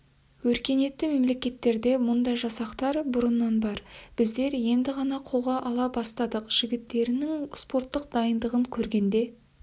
өркениетті мемлекеттерде мұндай жасақтар бұрыннан бар біздер енді ғана қолға ала бастадық жігіттерінің спорттық дайындығын көргенде